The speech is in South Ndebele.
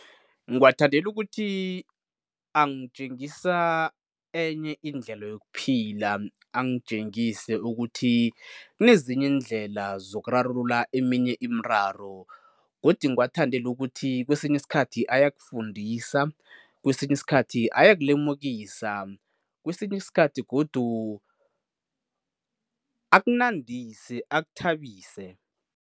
Ngiwathandela ukuthi angitjengisa enye indlela yokuphila, angitjengise ukuthi kunezinye iindlela zokurarulula eminye imiraro godi ngiwathandele ukuthi kwesinye isikhathi ayakufundisa, kwesinye isikhathi ayokulemukisa, kwesinye isikhathi godu akunandise, akuthabise.